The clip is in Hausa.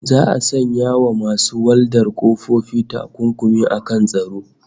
Za'a sanya wa masu waldar ƙofofi takunkumi akan tsaro